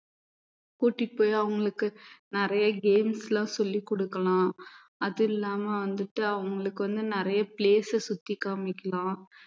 கூட்டிட்டு போய் அவங்களுக்கு நிறைய games எல்லாம் சொல்லிக் கொடுக்கலாம் அது இல்லாம வந்துட்டு அவங்களுக்கு வந்து நிறைய place அ சுத்தி காமிக்கலாம்